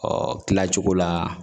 Ɔ kila cogo la